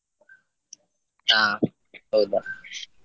ಆ ಹೌದಾ?